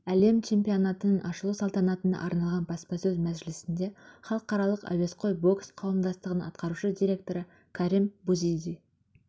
әлем чемпионатының ашылу салтанатына арналған баспасөз мәжілісінде халықаралық әуесқой бокс қауымдастығының атқарушы директоры карим бузиди